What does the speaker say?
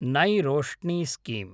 नै रोष्णि स्कीम